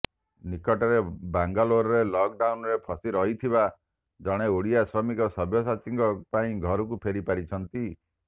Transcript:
ନିକଟରେ ବାଙ୍ଗାଲୋରରେ ଲକଡାଉନରେ ଫସି ରହିଥିବା ଜଣେ ଓଡ଼ିଆ ଶ୍ରମିକ ସବ୍ୟସାଚୀଙ୍କ ପାଇଁ ଘରକୁ ଫେରି ପାରିଛନ୍ତି